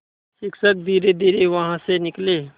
शिक्षक धीरेधीरे वहाँ से निकले